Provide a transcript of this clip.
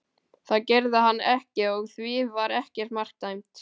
Það gerði hann ekki og því var ekkert mark dæmt.